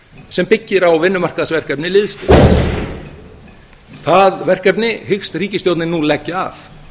sem byggir á vinnumarkaðsverkefni liðsstyrks það verkefni hyggst ríkisstjórnin nú leggja af